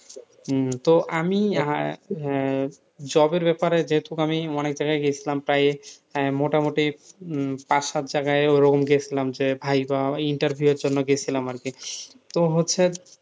তো আমি আহ job এর ব্যাপারে যেহেতু আমি অনেক জায়গায় গেছিলাম, প্রায় মোটামুটি পাঁচ সাত জায়গায় ওরকম গেছিলাম যে viva interview এর জন্য গেছিলাম আরকি, তো হচ্ছে,